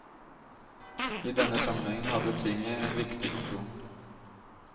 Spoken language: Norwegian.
I denne sammenhengen hadde tinget en viktig funksjon.